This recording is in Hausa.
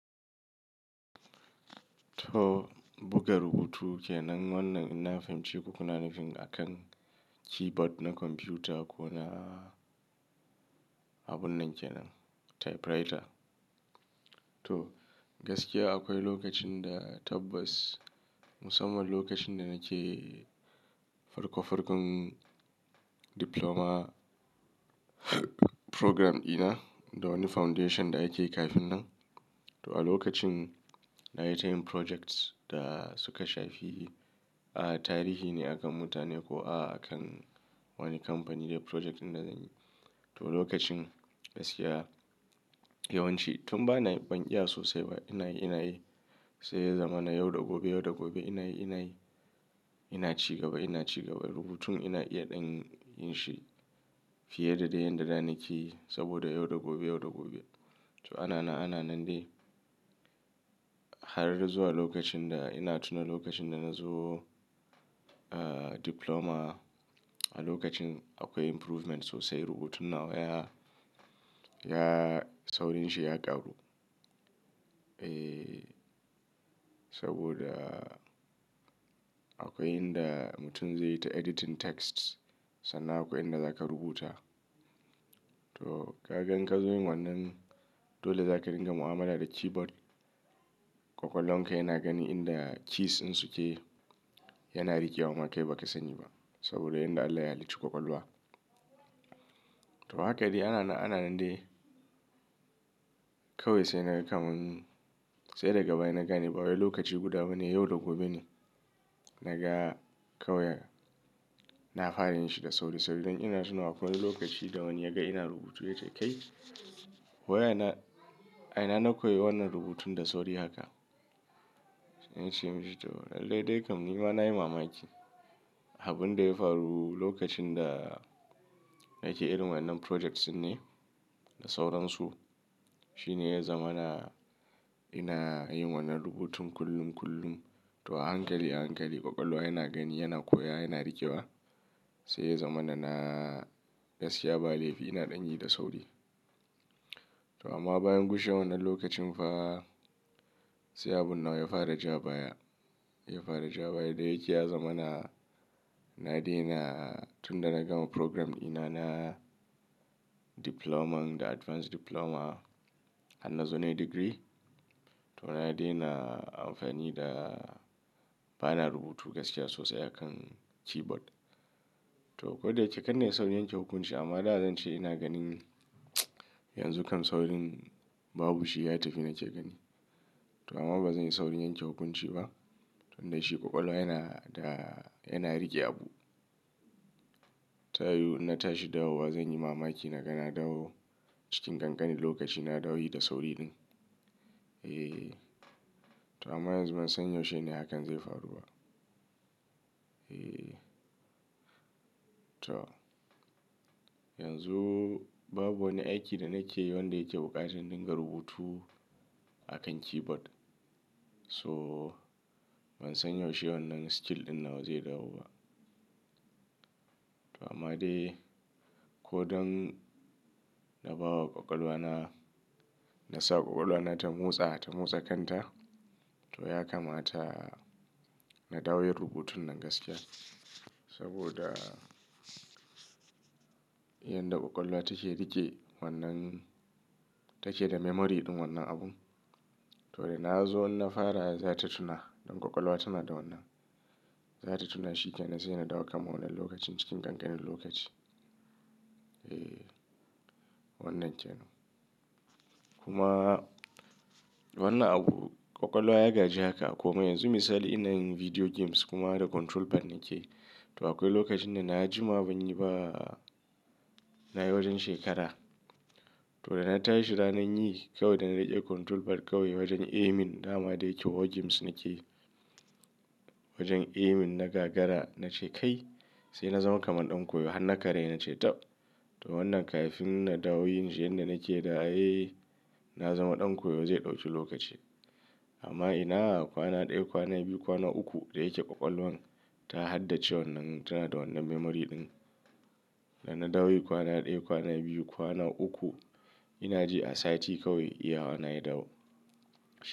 To, buga rubutu kenan wannan in na fahimci ku kuna nufin akan keyboard na kwamfuta ko na abun nan kenan typewriter. To, gaskiya akwai lokacin da tabbas musamman lokacin da nake farko farkon diploma program dina da wani foundation da ake yi kafin nan. To a lokacin na yi tayin projects da suka shafi, ah, tarihi ne akan mutane ko a akan wani kamfani ne project ɗin da zan yi. To lokacin gaskiya yawanci tun ba na, ban iya sosai ba. Ina yi, ina yi sai ya zama na yau da gobe, yau da gobe ina yi, ina yi. Ina ci gaba, ina ci gaba rubutun ina iya ɗan yin shi fiye da dai yan da zan yi saboda yau da gobe, yau da gobe. To ana, ana nan dai har zuwa lokacin da ina tuna lokacin da na zo, ah, diploma. A lokacin akwai improvement sosai rubutun nawa ya, ya, saurin shi ya ƙaru, eh, saboda akwai inda mutum zai yi ta editing texts sannan akwai inda za ka rubuta. To, ka gan in ka zo yin wannan dole za ka ringa mu'amala da keyboard. Kwakwal wan ka yana gani inda keys in suke yana riƙewa ma kai ba ka sani ba saboda inda Allah ya lici kwakwal wa. To, haka dai ana, ana nan dai kawai sai na ga kamun sai daga baya na gane ba wani lokaci guda bane, yau da gobe ne na ga kawai na fara yin shi da sauri sauri dan ina tuna akwai wani lokaci da wani ya ga ina rubutu ya ce, "Kai, wa ya na, a ina na koyi wannan rubutun da sauri haka?" Na ce masa to, "lallai dai kam ni ma na yi mamaki." Abin da ya faru lokacin da nake yin wannan projects ne da sauran su shine ya zama na, ina yin wannan rubutun kullum kullum. To a hankali a hankali kwakwal wa yana gani, yana koya, yana riƙewa sai ya zama na gaskiya ba laifi ina ɗan yi da sauri. To amma bayan gushe wannan lokacin fa sai abun nawa ya fara ja baya, ya fara ja baya. Da yake ya zama na, na daina tun da na gama program dina na diploma and advanced diploma har na zo nayi degree. To na daina amfani da, ba na rubutu gaskiya sosai akan keyboard. To, ko da yake kan na yi saurin yanke hukunci amma da zan ce ina ganin yanzu kam saurin babu shi ya tafi nake gani. To amma ba zan yi saurin yanke hukunci ba tun da shi kwakwal wa yana da, yana riƙe abu. Ta yiwu ina tashi dawo zan yi mamaki na ga na dawo cikin ƙanƙani lokaci na dawo yi da saurin. Eh, to amma yanzu ban san yaushe ne hakan zai faruwa ba. Eh, to yanzu babu wani aiki da nake yi wanda yake buƙatar in diga rubutu akan keyboard. So ban san yaushe wannan skill ɗin nawa zai dawo ba. To amma dai ko don na bawa kwakwal wa na, na sa kwakwal wa na ta motsa, ta motsa kanta. To ya kamata na dawo yi rubutun nan gaskiya saboda yanda kwakwal wa take riƙe wannan take da memory ɗin wannan abun. To da na zo na fara za ta tuna don kwakwal wa tana da wannan. Za ta tuna shi ke na sai na dawo kaman wannan lokacin cikin ƙanƙanin lokaci. Eh, wannan kenan. Kuma wannan abu kwakwal wa ya gaji haka ako mai yanzu misali ina yin video games kuma da control pad nake. To akwai lokacin da na ji ma ban yi ba na yi wajen shekara. To da na tashi ranan yi kawai da na riƙe control pad kawai wajen aiming dama da yake war games nake yi. Wajen aiming na gagara na ce kai sai na zama kaman ɗan koyo har na karye na ce tab. To wannan kafin na dawo yin shi yanda nake da ai na zama ɗan koyo zai ɗauki lokaci. Amma ina kwana ɗaya, kwana biyu, kwana uku da yake kwakwal wan ta haddace wannan tana da wannan memory ɗin. Da na dawo yi kwana ɗaya, kwana biyu, kwana uku ina je asati kawai iya wa na ya dawo.